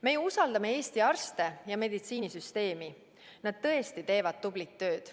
Me usaldame Eesti arste ja meditsiinisüsteemi, nad tõesti teevad tublit tööd.